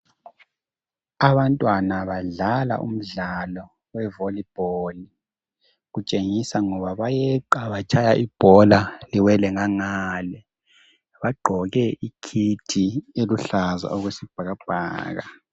Abantwana badlala umdlalo we valleyball. Kutshengisa ngoba bayeqa batshaye ibhola liwele ngangale. Bagqoke ikit eluhlaza okwesibhakabhaka.